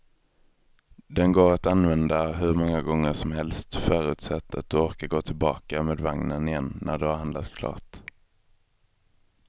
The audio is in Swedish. Den går att använda hur många gånger som helst, förutsatt att du orkar gå tillbaka med vagnen igen när du har handlat klart.